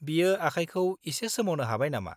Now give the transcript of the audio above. बियो आखाइखौ एसे सोमावनो हाबाय नामा?